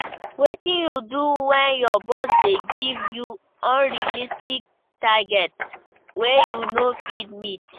Wetin you do when your boss dey give you unrealistic targets wey you no fit meet?